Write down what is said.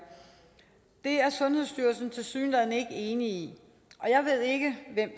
det er sundhedsstyrelsen tilsyneladende ikke enig i og jeg ved ikke hvem